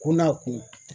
Ko n'a kun